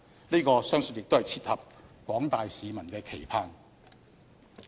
這個相信亦切合廣大市民的期盼。